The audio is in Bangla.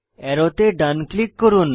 অ্যারোতে ডান ক্লিক করুন